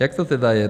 Jak to tedy je?